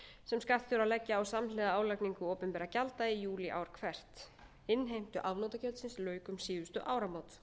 sem skattur til að leggja á samhliða álagningu opinberra gjalda í júlí ár hvert innheimtu afnotagjaldsins lauk um síðustu áramót